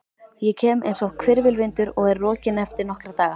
Ég kem einsog hvirfilvindur og er rokinn eftir nokkra daga.